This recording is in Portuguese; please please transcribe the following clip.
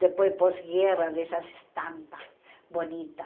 Depois, pós-guerra, dessas estampas bonitas.